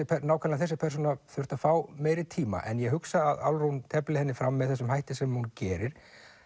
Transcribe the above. nákvæmlega þessi persóna þurft að fá meiri tíma en ég hugsa að Álfrún tefli henni fram með þessum hætti sem hún gerir